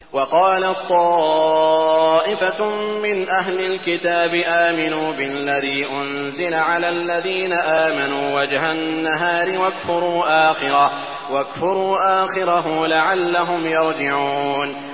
وَقَالَت طَّائِفَةٌ مِّنْ أَهْلِ الْكِتَابِ آمِنُوا بِالَّذِي أُنزِلَ عَلَى الَّذِينَ آمَنُوا وَجْهَ النَّهَارِ وَاكْفُرُوا آخِرَهُ لَعَلَّهُمْ يَرْجِعُونَ